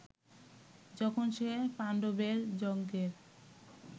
যখন সে পাণ্ডবের যজ্ঞের